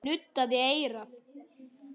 Hann nuddaði eyrað.